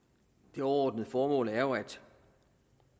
det overordnede formål er jo at